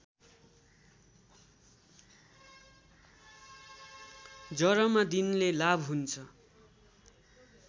ज्वरमा दिनले लाभ हुन्छ